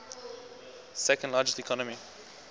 second largest economy